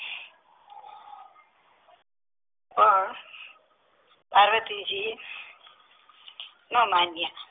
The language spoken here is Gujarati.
પણ પાર્વતીજી ન માનયા